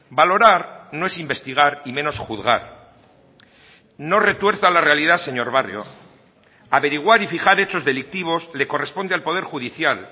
valorar no es investigar y menos juzgar no retuerza la realidad señor barrio averiguar y fijar hechos delictivos le corresponde al poder judicial